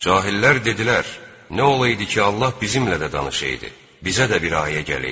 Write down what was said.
Cahillər dedilər: "Nə olaydı ki, Allah bizimlə də danışaydı, bizə də bir ayə gələydi."